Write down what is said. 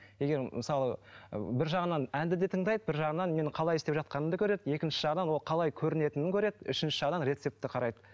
егер мысалы ы бір жағынан әнді де тыңдайды бір жағынан менің қалай істеп жатқанымды көреді екінші жағынан ол қалай көрінетінін көреді үшінші жағынан рецепті қарайды